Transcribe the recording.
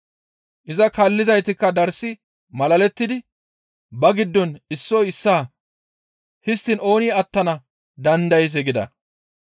Iza kaallizaytikka darssi malalettidi ba giddon issoy issaa, «Histtiin ooni attana dandayzee?» gida.